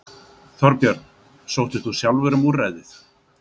Þorbjörn: Sóttir þú sjálfur um úrræðið?